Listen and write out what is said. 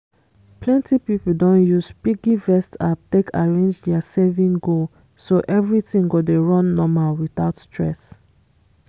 plenty people don use piggyvest app take arrange their saving goal so everything go dey run normal without stress